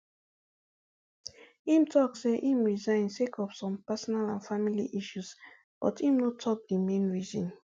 im tok say im resign sake of some personal and family issues but im no tok di main reason